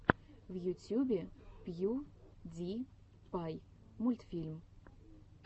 в ютюбе пью ди пай мультфильм